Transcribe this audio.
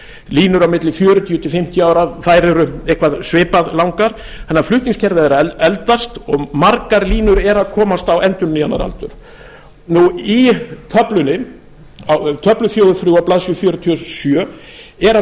línur á milli fjörutíu til fimmtíu eru eitthvað svipað langar þannig að flutningskerfið er að eldast og margar línur eru að komast á endurnýjunaraldur í töflu fjögur þrjú á blaðsíðu fjörutíu og sjö er að